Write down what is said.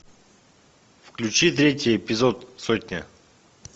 включи третий эпизод сотня